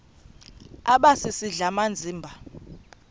aba sisidl amazimba